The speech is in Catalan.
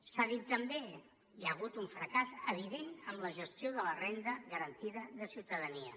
s’ha dit també hi ha hagut un fracàs evident en la gestió de la renda garantida de ciutadania